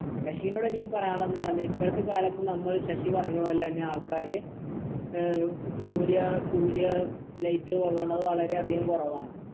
ശശിനോടെനിക്ക് പറയാനുള്ളതെന്ന് പറഞ്ഞ ഇപ്പൾത്തെ കാലത്ത് നമ്മൾ ശശി പറഞ്ഞ പോലെന്നെ ആൾക്കാര് ആഹ് സൂര്യ സൂര്യ light കൊള്ളണത് വളരെ അധികം കുറവാണ്